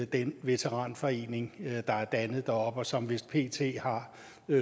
den veteranforening der er dannet deroppe og som vist pt har